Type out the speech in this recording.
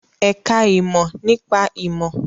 Ẹ̀ka ìmọ̀ nípa ìmọ̀